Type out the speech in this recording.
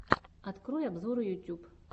открой обзоры ютьюб